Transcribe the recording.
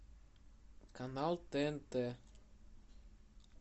канал тнт